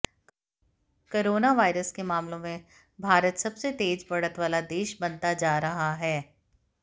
coronavirus के मामलों में भारत सबसे तेज बढ़त वाला देश बनता जा रहा है